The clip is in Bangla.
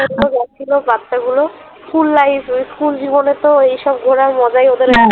যাচ্ছিলো বাচ্চাগুলো school life school জীবনে তো এইসব ঘোড়ার মজা ই ওদের